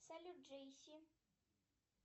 салют джейси